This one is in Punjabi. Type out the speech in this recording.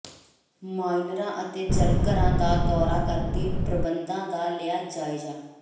ਮਾਈਨਰਾਂ ਅਤੇ ਜਲਘਰਾਂ ਦਾ ਦੌਰਾ ਕਰਕੇ ਪ੍ਰਬੰਧਾਂ ਦਾ ਲਿਆ ਜਾਇਜ਼ਾ